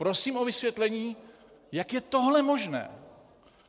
Prosím o vysvětlení, jak je tohle možné.